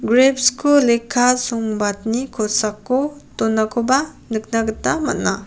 greps ko lekka songbadni kosako donakoba nikna gita man·a.